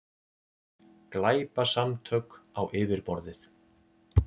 Glæpasamtök á yfirborðið